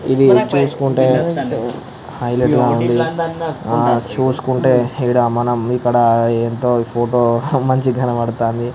ఇది చూసుకుంటే హైలైట్ గా ఉంది. ఆ చూసుకుంటే ఇడ మనం ఇక్కడ ఎంతో ఫోటో మంచిగ కనబడుతుంది.